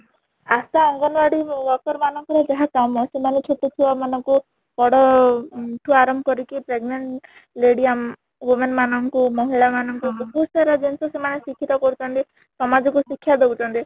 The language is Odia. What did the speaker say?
ଆଶା ଅଙ୍ଗନବାଡି worker ମାନଙ୍କର ଯାହା କାମ ସେମାନେ ଛୋଟ ଛୁଆ ମାନ ଙ୍କୁ ବଡ ଠୁ ଆରମ୍ଭ କରିକି pregnant lady ଆମ women ମାନ ଙ୍କୁ ମହିଳା ମାନ ଙ୍କୁ ବହୁତ ସାରା ଜିନିଷ ସେମାନେ ଶିକ୍ଷିତ କରୁଛନ୍ତି ସମାଜ କୁ ଶିକ୍ଷା ଦଉଛନ୍ତି